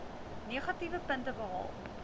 negatiewe punte behaal